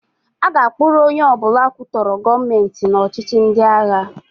A ga-akpụrụ onye ọbụla kwutọrọ Gọọmentị n' ọchịhị ndịagha.